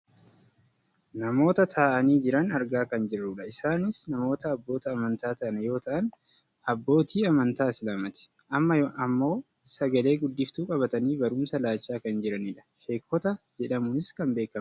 namoota taa'anii jiran argaa kan jirrudha. isaanis namoota abboota amantaa ta'an yoo ta'an abbootii amantaa islaamaati . amma ammoo sagale guddiftuu qabatanii barumsa laachaa kan jiranidha. sheekota jedhamuunis kan beekkamanidha.